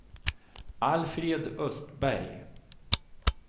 Alfred Östberg